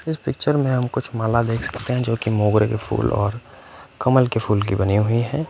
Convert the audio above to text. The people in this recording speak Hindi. इस पिक्चर में हम कुछ माला देख सकते हैं जोकि मोगरे के फूल और कमल के फूल की बनी हुई हैं।